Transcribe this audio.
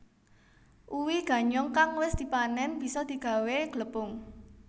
Uwi ganyong kang wis dipanén bisa digawé glepung